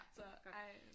Så ej